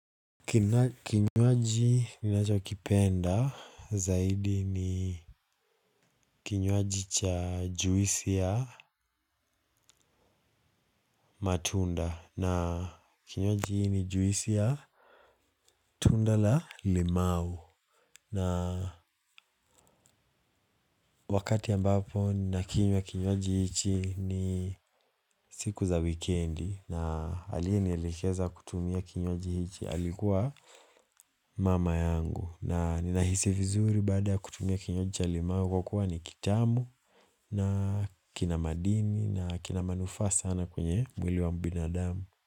Kinywaji ninachokipenda zaidi ni kinywaji cha juwisi ya matunda na kinywaji ni juwisi ya tunda la limau. Na wakati ambapo ninakinywa kinywaji hichi ni siku za wikendi na aliyenielekeza kutumia kinywaji hichi alikuwa mama yangu. Na ninahisi vizuri baada kutumia kinywaji cha limau kwa kuwa ni kitamu na kina madini na kina manufaa sana kwenye mwili wa binadamu.